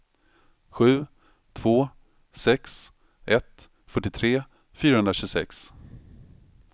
sju två sex ett fyrtiotre fyrahundratjugosex